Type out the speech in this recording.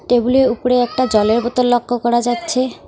টেবিলে উপরে একটা জলের বোতল লক্ষ্য করা যাচ্ছে।